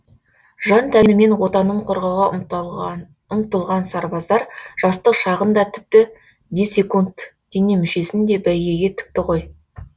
жан тәнімен отанын қорғауға ұмтылған сарбаздар жастық шағын да тіпті десекунд дене мүшесін де бәйгеге тікті ғой